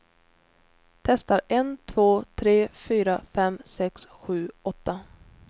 Testar en två tre fyra fem sex sju åtta.